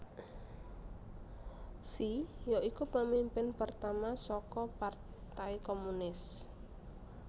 Xi ya iku pemimpin pertama saka partai komunis